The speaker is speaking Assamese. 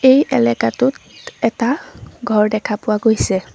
এই এলেকাটোত এটা ঘৰ দেখা পোৱা গৈছে।